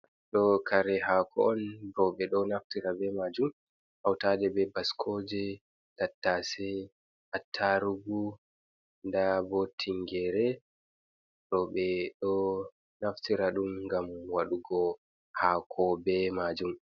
Ɗo kare haako on. Ɗo ɓeɗo naftira be majum hautade be baskoje, tattase, attarugu, nda bo tingere. Ɗo ɓeɗo naftira ɗum ngam waɗugo haako be majum.